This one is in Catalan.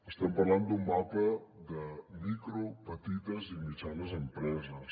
estem parlant d’un mapa de micro petites i mitjanes empreses